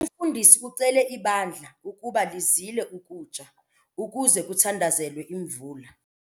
Umfundisi ucele ibandla ukuba lizile ukutya ukuze kuthandazelwe imvula.